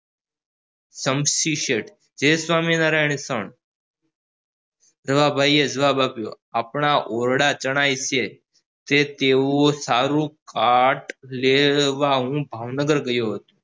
ચામસી શેઠ જય સ્વામિનારાયણ રવા ભાઈ એ જવાબ આપ્યો આપણા ઓરડા ચણાય છે તે તેઓ સારું લેવા હું ભાવનગર ગયો હતો